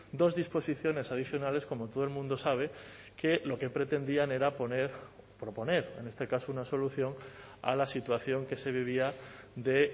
dos disposiciones adicionales como todo el mundo sabe que lo que pretendían era poner proponer en este caso una solución a la situación que se vivía de